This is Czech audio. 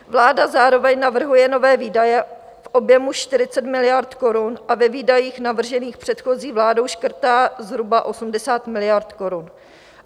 Vláda zároveň navrhuje nové výdaje v objemu 40 miliard korun a ve výdajích navržených předchozí vládou škrtá zhruba 80 miliard korun.